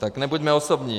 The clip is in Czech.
Tak nebuďme osobní.